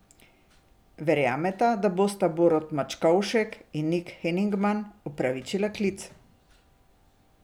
Verjamete, da bosta Borut Mačkovšek in Nik Henigman upravičila klic?